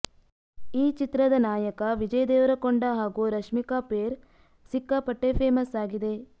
ಈ ಚಿತ್ರದ ನಾಯಕ ವಿಜಯ್ ದೇವರಕೊಂಡ ಹಾಗೂ ರಶ್ಮಿಕಾ ಪೇರ್ ಸಿಕ್ಕಾಪಟ್ಟೆ ಫೇಮಸ್ ಆಗಿದೆ